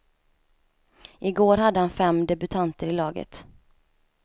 Igår hade han fem debutanter i laget.